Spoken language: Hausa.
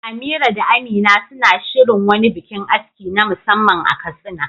Amira da Amina suna shirin wani bikin aski na musamman a Katsina.